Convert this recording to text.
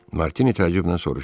Martini təəccüblə soruşdu.